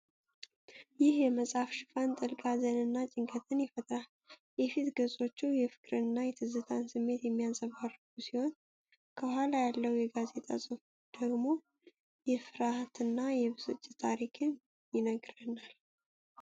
ይህ የመጽሐፍ ሽፋን ጥልቅ ሀዘንንና ጭንቀትን ይፈጥራል። የፊት ገጾቹ የፍቅርንና የትዝታ ስሜት የሚያንፀባርቁ ሲሆን፣ ከኋላ ያለው የጋዜጣ ጽሑፍ ደግሞ የፍርሃትና የብስጭት ታሪክን ይነግረናል።